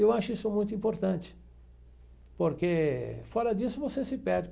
Eu acho isso muito importante, porque fora disso você se perde.